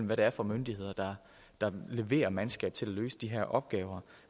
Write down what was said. hvad det er for myndigheder der leverer mandskab til at løse de her opgaver